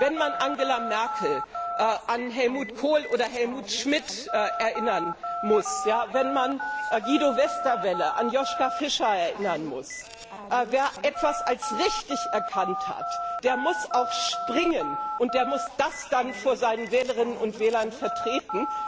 Wenn man Angela Merkel an Helmut Kohl oder Helmut Schmidt erinnern muss, wenn man Guido Westerwelle an Joschka Fischer erinnern muss wer etwas als richtig erkannt hat, der muss auch springen, und der muss das dann vor seinen Wählerinnen und Wählern vertreten.